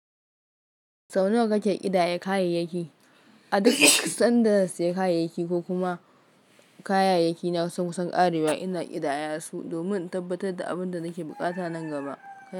Sau nawa kake ƙidaya kayayyaki? A duk sanda zan saya kayayyaki ko kuma kayayyaki na sun kusan ƙarewa, ina ƙidaya su, domin in tabbatar da abin da nake buƙata nan gaba.